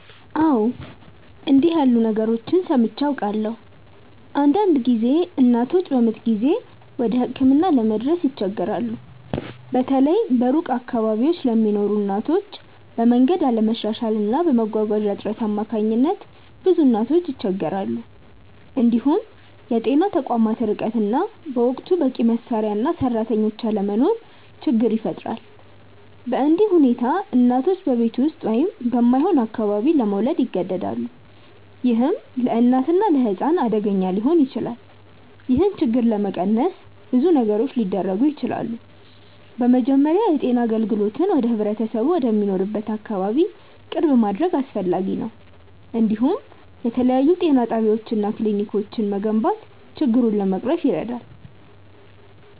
አዎ፣ እንዲህ ያሉ ነገሮችን ሰምቼ አውቃለሁ። አንዳንድ ጊዜ እናቶች በምጥ ጊዜ ወደ ሕክምና ለመድረስ ይቸገራሉ፤ በተለይ በሩቅ አካባቢዎች ለሚኖሩ እናቶች፤ በመንገድ አለመሻሻል እና በመጓጓዣ እጥረት አማካኝነት ብዙ እናቶች ይቸገራሉ። እንዲሁም የጤና ተቋማት ርቀት እና በወቅቱ በቂ መሳሪያ እና ሰራተኞች አለመኖር ችግር ይፈጥራል። በእንዲህ ሁኔታ እናቶች በቤት ውስጥ ወይም በማይሆን አካባቢ መውለድ ይገደዳሉ፣ ይህም ለእናትና ለሕፃን አደገኛ ሊሆን ይችላል። ይህን ችግር ለመቀነስ ብዙ ነገሮች ሊደረጉ ይችላሉ። በመጀመሪያ የጤና አገልግሎትን ወደ ህብረተሰቡ ወደሚኖርበት አካባቢ ቅርብ ማድረግ አስፈላጊ ነው፤ እንዲሁም የተለያዩ ጤና ጣቢያዎች እና ክሊኒኮች መገንባት ችግሩን ለመቅረፍ ይረዳል።